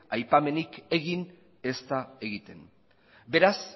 aipamenik egin ez da egiten beraz